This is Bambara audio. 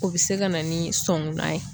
O be se ka na ni sɔngunan ye